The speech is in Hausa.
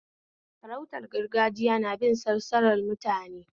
Sarautar gargajiya nabin salsalar mutum ne